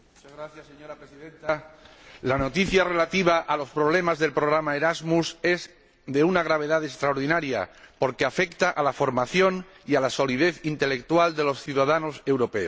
Señora Presidenta, la noticia relativa a los problemas del programa Erasmus es de una gravedad extraordinaria, porque afecta a la formación y a la solidez intelectual de los ciudadanos europeos.